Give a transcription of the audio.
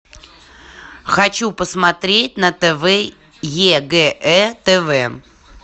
хочу посмотреть на тв егэ тв